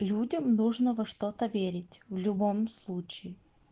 людям нужно во что то верить в любом случае